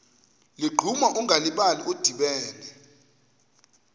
ligquma ungalibali udibene